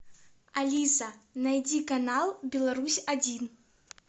алиса найди канал беларусь один